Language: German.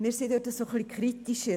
Wir sind diesbezüglich kritischer.